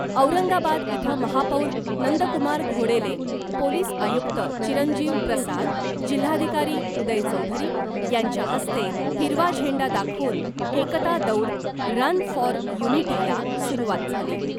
औरंगाबाद इथं , महापौर नंदकुमार घोडेले , पोलीस आयुक्त चिरंजीव प्रसाद , जिल्हाधिकारी उदय चौधरी , यांच्या हस्ते हिरवा झेंडा दाखवून एकता दौड ' रन फॉर युनिटी ' ला सुरुवात झाली .